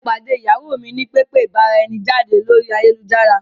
Mo pàdé ìyàwó mi ní pẹpẹ ìbára-ẹni-jáde lórí ayélujára.